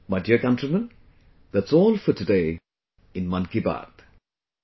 My dear countrymen, that's all for today in 'Mann Ki Baat'